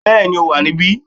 Bẹ́ẹ̀ni ó wà níbí